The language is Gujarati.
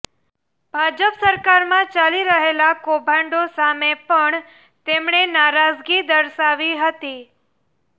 ભાજપ સરકારમાં ચાલી રહેલા કૌભાંડો સામે પણ તેમણે નારાજગી દર્શાવી હતી